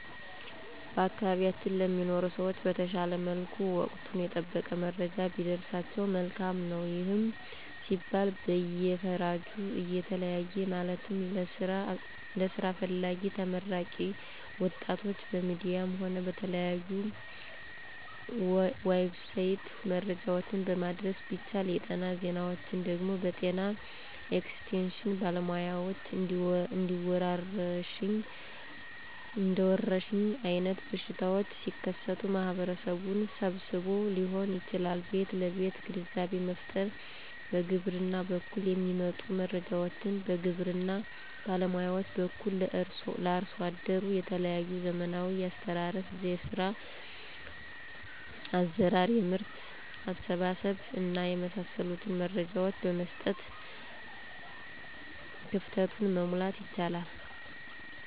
በአካባቢያችን ለሚኖሩ ሰዎች በተሻለ መልኩ ወቀቱን የጠበቀ መረጃ ቢደርሳቸው መልካም ነው። ይህም ሲባል በየፈርጁ እየተለየ ማለትም ለስራ ፈላጊ ተመራቂ ወጣቶች በሚዲያም ሆነ በተለያዩ"ዌብሳይት"መረጃዎችን ማድረስ ቢቻል, የጤና ዜናዎች ደግሞ በጤና ኤክስቴሽን ባለሙያዎች እንደወረርሽኝ አይነት በሽታዎች ሲከሰቱ ማህበረሰቡን ሰብስቦዎ ሊሆን ይችላል ቤት ለቤት ግንዛቤ መፍጠር፣ በግብርና በኩል የሚመጡ መረጃዎችን በግብርና ባለሙያዎች በኩል ለአርሶ አደሩ የተለያዩ ዘመናዊ የአስተራረስ፣ የዘር አዘራር፣ የምርት አሰባሰብ እና የመሳሰሉትን መረጃዎች በመስጠት ክፍተቱን, መሙላት ይቻላል።